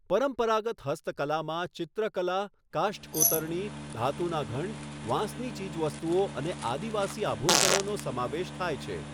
પરંપરાગત હસ્તકળામાં ચિત્રકલા, કાષ્ઠ કોતરણી, ધાતુના ઘંટ, વાંસનાં ચીજવસ્તુઓ અને આદિવાસી આભૂષણોનો સમાવેશ થાય છે.